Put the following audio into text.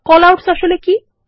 callouts কি